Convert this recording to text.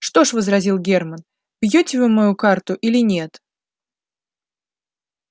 что ж возразил германн бьёте вы мою карту или нет